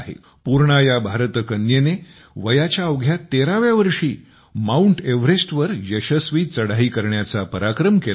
पूर्णा या भारतकन्येने वयाच्या अवघ्या 13 व्या वर्षी माउंट एव्हरेस्टवर यशस्वी चढाई करण्याचा पराक्रम केला आहे